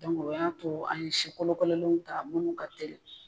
o y'a to an ye sikolokololenw ta mun ka tɛli.